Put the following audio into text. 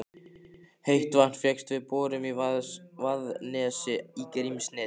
Heitt vatn fékkst við borun í Vaðnesi í Grímsnesi.